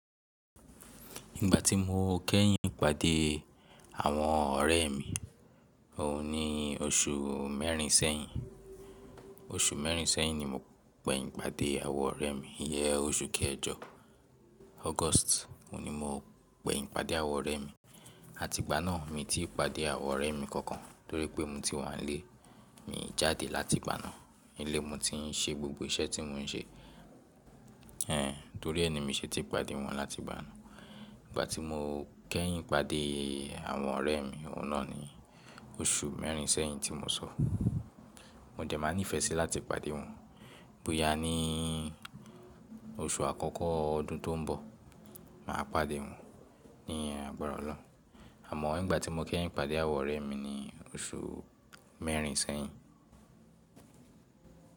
Ìgbà tí mo kẹ́yìn ipàdé àwọn ọ̀rẹ́ mi, òun ni oṣù mẹ́rin sẹ́yìn. Oṣù mẹ́rin sẹ́yìn ni mo gbẹ̀yìn pàdé àwọn ọ̀rẹ́ mi. Ìyẹn ọṣù kẹ̀jọ August ni mo gnẹ̀yìn pàdé àwọn ọ̀rẹ́ mi. Àti ìgbà náà mi tí pàdé àwọn ọ̀rẹ́ mi kankan torí pé mo ti wà nílé, mi jáde láti ìgbà náà. Ílé nì mo ti ń ṣe gbogbo iṣẹ́ tí mo ń ṣe. En, torí ẹ ni mi ṣe ti pàdé wọn láti ìgbà náà. Ìgbà tí mo kẹ́yìn pàdé àwọn ọ̀rẹ́ mi, oun nàà ni oṣù mẹ́rin sẹ́yìn tí mo sọ. Mo dẹ máa nífẹ sí láti pàdé wọn bóyá ni oṣù àkọ́kọ́ ọdún tó ń bọ̀, màá pàdé wọn ní agbára Ọlọ́run. Àmọ́ ìgbà tí mo kẹ́yìn pàdé àwọn ọ̀rẹ́ mi ni oṣù mẹ́rin sẹ́yìn.